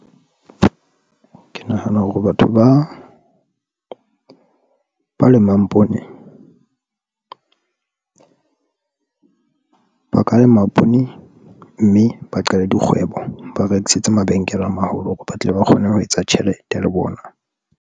Ke nahana hore batho ba lemang poone ba ka lema poone, mme ba qale dikgwebo, ba rekisetsa mabenkele a maholo hore ba tle ba kgone ho etsa tjhelete le bona.